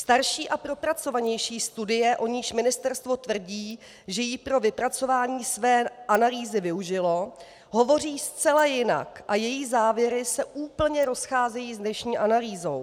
Starší a propracovanější studie, o níž ministerstvo tvrdí, že jí pro vypracování své analýzy využilo, hovoří zcela jinak a její závěry se úplně rozcházejí s dnešní analýzou.